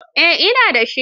Eh, ina da shi.